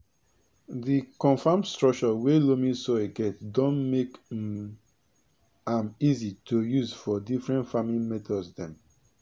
di confam stucture wey loamy soil get don make um am easy to use for different farming methods dem